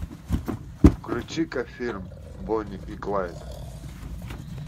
включи ка фильм бонни и клайд